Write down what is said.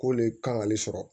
K'o le kan k'ale sɔrɔ